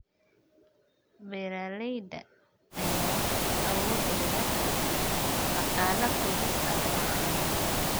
Beeralayda ayaa awoodooda dhaqaale ku dhisaya caanaha.